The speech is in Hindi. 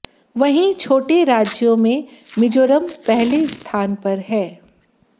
वहीं छोटे राज्यों में मिजोरम पहले स्थान पर है